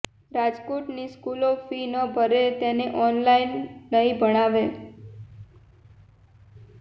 રાજકોટની સ્કૂલો ફી ન ભરે તેને ઓનલાઈન નહીં ભણાવે